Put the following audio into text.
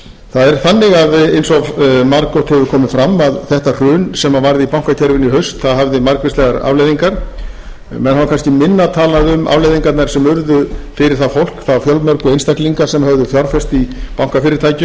það er þannig að eins og margoft hefur komið fram að þetta hrun sem varð í bankakerfinu í haust hafði margvíslegar alvarlegar afleiðingar menn hafa kannski minna talað um afleiðingarnar sem urðu fyrir það fólk þá fjölmörgu einstaklinga sem fjárfest höfðu í bankafyrirtækjum